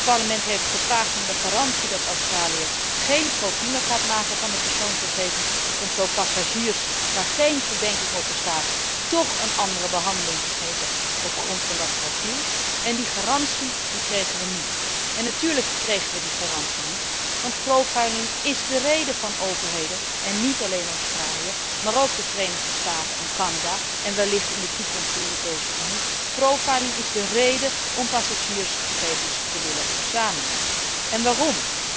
Dit Parlement heeft gevraagd om de garantie dat Australië geen profielen gaat maken van de persoonsgegevens om zo passagiers waarop geen verdenking rust, toch een andere behandeling te geven op grond van dat profiel. Die garantie kregen we niet. Natuurlijk kregen we die garantie niet, want is de reden waarom overheden en niet alleen Australië, maar ook de Verenigde Staten en Canada en wellicht in de toekomst de Europese Unie passagiersgegevens willen verzamelen. Waarom?